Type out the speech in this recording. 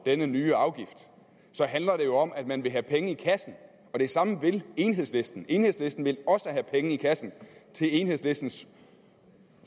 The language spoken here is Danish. denne nye afgift handler det jo om at man vil have penge i kassen og det samme vil enhedslisten enhedslisten vil også have penge i kassen til enhedslistens